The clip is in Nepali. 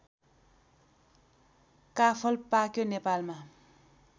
काफल पाक्यो नेपालमा